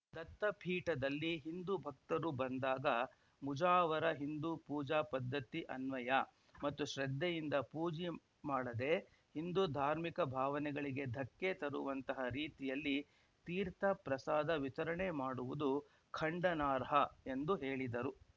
ದತ್ತಪೀಠದಲ್ಲಿ ಹಿಂದೂ ಭಕ್ತರು ಬಂದಾಗ ಮುಜಾವರ ಹಿಂದೂ ಪೂಜಾ ಪದ್ಧತಿ ಅನ್ವಯ ಮತ್ತು ಶ್ರದ್ಧೆಯಿಂದ ಪೂಜೆ ಮಾಡದೆ ಹಿಂದೂ ಧಾರ್ಮಿಕ ಭಾವನೆಗಳಿಗೆ ಧಕ್ಕೆ ತರುವಂತಹ ರೀತಿಯಲ್ಲಿ ತೀರ್ಥ ಪ್ರಸಾದ ವಿತರಣೆ ಮಾಡುವುದು ಖಂಡನಾರ್ಹ ಎಂದು ಹೇಳಿದರು